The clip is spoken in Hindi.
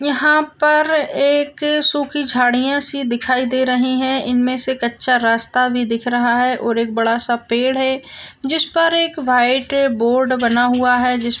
यहाँ पर एक अह सुखी झाड़ियां सी दिखाई दे रहे है इनमे से कच्चा रास्ता भी दिख रहा है और एक बड़ा सा पेड़ है जिस पर एक व्हाइट बोर्ड बना हुआ है जिस--